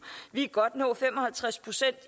vi kan godt nå fem og halvtreds procent